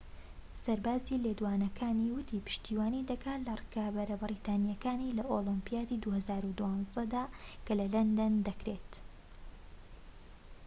سەرباری لێدوانەکانی، وتی پشتیوانی دەکات لە ڕکابەرە بەریتانیەکانی لە ئۆلۆمپیادی ٢٠١٢ دا کە لە لەندەن دەکرێت